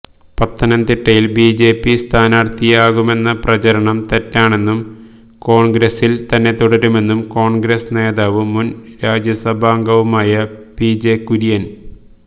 പത്തനംതിട്ടയില് BJP സ്ഥാനാര്ഥിയാകുമെന്ന പ്രചാരണം തെറ്റാണെന്നും കോണ്ഗ്രസില് തന്നെത്തുടരുമെന്നും കോണ്ഗ്രസ് നേതാവും മുന് രാജ്യസഭാംഗവുമായ പിജെ കുര്യന്